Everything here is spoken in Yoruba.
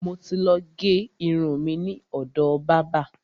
Mo ti ló gé irun mi ni ọ̀dọ̀ bábà.